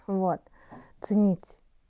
вот ценить